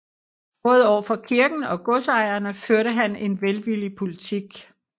Både over for kirken og godsejerne førte han en velvillig politik